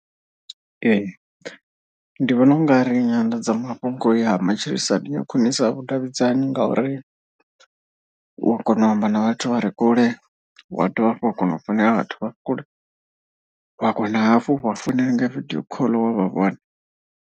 Ee, ndi vhona u nga ri nyanḓadzamafhungo ya matshilisano ya khwinisa vhudavhidzani. Ngauri u wa kona u amba na vhathu vha re kule wa dovha hafhu wa kona u founela vhathu vha kule. Wa kona hafhu u vha founela nga vidio khoḽo wa vhavhona.